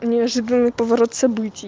неожиданный поворот событий